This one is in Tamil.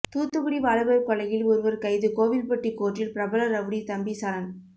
தூத்துக்குடி வாலிபர் கொலையில் ஒருவர் கைது கோவில்பட்டி கோர்ட்டில் பிரபல ரவுடி தம்பி சரண்